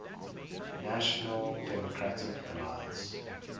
national democratic alliance